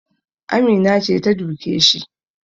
Amina ce ta duke shi